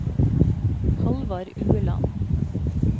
Halvard Ueland